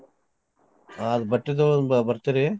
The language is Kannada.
ಹಾ ಬಟ್ಟಿ ತೊಗೋಳುನ್ ಬ~ ಬರ್ತೀರಿ?